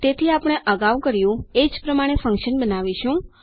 તેથી આપણે અગાઉ કર્યું એ જ પ્રમાણે ફન્કશન બનાવીશું